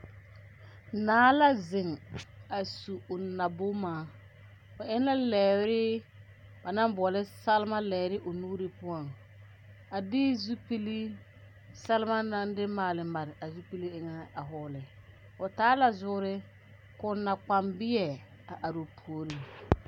Naa la zeŋ a su o naboma o eŋ la lɛɛre ba naŋ boɔla salma lɛɛre o nuuri poɔŋ a de zupili salma naŋ de maale mare a zupili eŋɛ a vɔgle o taa la zoore k,o nakpambeɛ a are o puoriŋ.